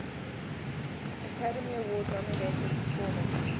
academy award nominated performance